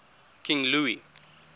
king louis